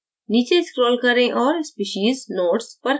नीचे scroll करें और species notes पर click करें